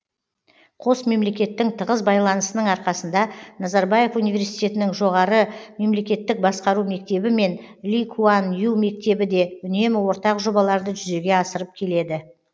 қос мемлекеттің тығыз байланысының арқасында назарбаев университетінің жоғары мемлекеттік басқару мектебі мен ли куан ю мектебі де үнемі ортақ жобаларды жүзеге асырып келеді